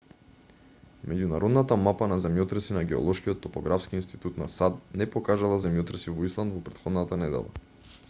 меѓународната мапа на земјотреси на геолошкиот топографски институт на сад не покажала земјотреси во исланд во претходната недела